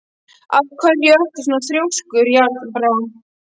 Af hverju ertu svona þrjóskur, Járnbrá?